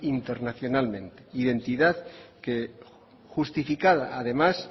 internacionalmente identidad que justificada además